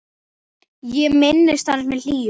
Ég minnist hans með hlýju.